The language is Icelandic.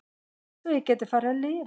Svo ég gæti farið að lifa.